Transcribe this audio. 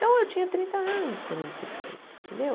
Então, eu tinha trinta anos quando eu me separei, entendeu?